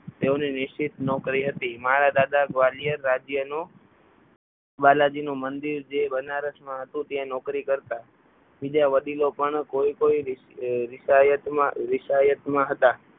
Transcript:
તેઓની નિશ્ચિત નોકરી હતી મારા દાદા ગ્વાલિયર રાજ્યનો બાલાજીનું મંદિર જે બનારસમાં હતું ત્યાં નોકરી કરતા બીજા વડીલો પણ કોઈ કોઈ રિસાયતમાં રિસાયતમાં હતા.